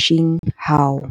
Shi Huang.